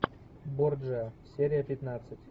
борджиа серия пятнадцать